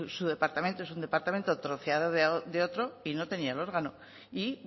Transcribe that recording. su departamento es un departamento troceado de otro y no tenían órgano y